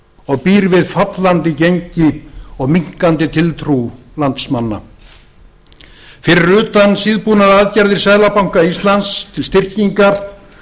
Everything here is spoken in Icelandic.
og býr við fallandi gengi og minnkandi tiltrú landsmanna við framsóknarmenn vonum sannarlega að ríkisstjórnin vakni af þyrnirósarsvefni sínum fyrir utan eðlilegar og þó síðbúnar aðgerðir seðlabanka íslands til styrkingar